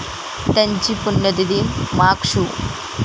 त्यांची पुण्यतिथी माघ शु.